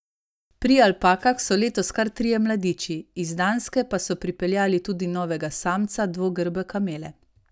Pri alpakah so letos kar trije mladiči, iz Danske pa so pripeljali tudi novega samca dvogrbe kamele.